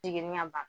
Jiginni ka ban